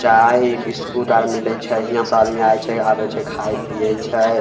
चाय बिस्कुट आर मिले छै यहां से आदमी आय छै आबे छै खाय-पिये छै।